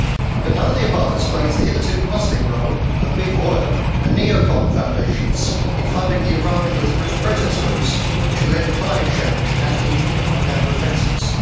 But none of the above explains the hitherto puzzling role of big oil and neo con foundations in funding the environmentalist protest groups which have led the climate change and anti nuclear propaganda offensives.